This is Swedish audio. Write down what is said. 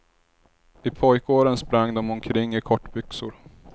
I pojkåren sprang de omkring i kortbyxor.